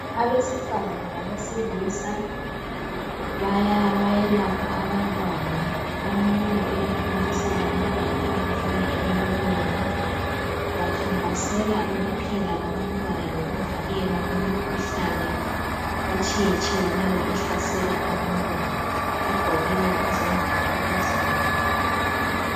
Abesifazana labesilisa bayelapha abantwana. Omunye uyathontisela umntwana ongumfana emlonyeni. Bakhankasela ukuphila kwabantwana lokuvikelwa imikhuhlane etshiyetshiyeneyo ehlasela abantwana. Bagqokile izembatho ezibomvu.